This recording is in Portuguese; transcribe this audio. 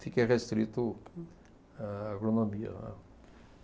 Fiquei restrito à agronomia.